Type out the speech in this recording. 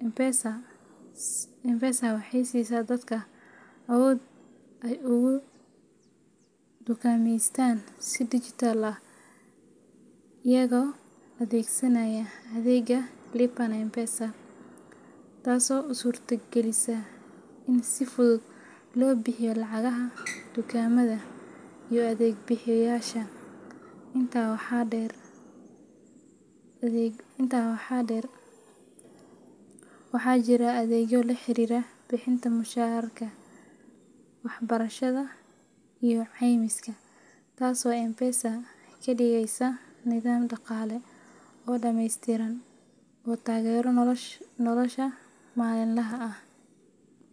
M-Pesa waxay siisaa dadka awood ay ugu dukaameystaan si dijitaal ah iyagoo adeegsanaya adeegga Lipa na M-Pesa, taasoo u suurta gelisa in si fudud loo bixiyo lacagaha dukaamada iyo adeeg bixiyeyaasha. Intaa waxaa dheer, waxaa jira adeegyo la xiriira bixinta mushaharka, waxbarashada, iyo caymiska, taasoo M-Pesa ka dhigaysa nidaam dhaqaale oo dhameystiran oo taageera nolosha maalinlaha ah.